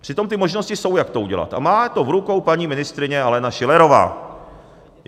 Přitom ty možnosti jsou, jak to udělat, a má to v rukou paní ministryně Alena Schillerová.